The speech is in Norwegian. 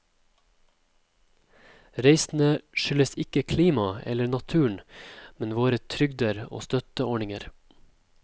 Reisene skyldes ikke klimaet eller naturen, men våre trygder og støtteordninger.